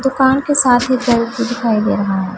दुकान के साथ ही सेल्फी दिखाई दे रहा--